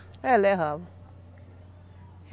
É, levava.